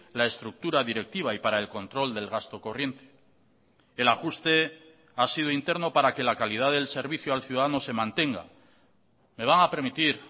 la estructura directiva y para el control del gasto corriente el ajuste ha sido interno para que la calidad del servicio al ciudadano se mantenga me van a permitir